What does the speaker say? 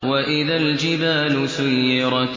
وَإِذَا الْجِبَالُ سُيِّرَتْ